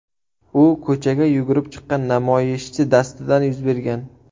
U ko‘chaga yugurib chiqqan namoyishchi dastidan yuz bergan.